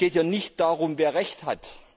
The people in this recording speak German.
Es geht ja nicht darum, wer Recht hat.